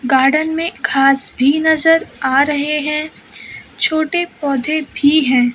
Garden में घास भी नजर आ रहे है छोटे पौधे भी हैं।